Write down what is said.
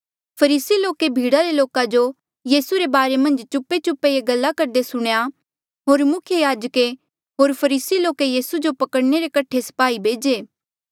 फरीसी लोके भीड़ा रे लोका जो यीसू रे बारे मन्झ चुपेचुपे ये गल्ला करदे सुणेया होर मुख्य याजके होर फरीसी लोके यीसू जो पकड़ने रे कठे स्पाही भेजे